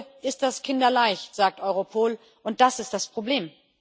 Heute ist das kinderleicht, sagt Europol, und das ist das Problem.